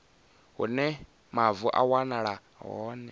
hune mavu a wanala hone